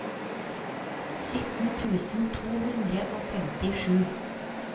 sytten tusen to hundre og femtisju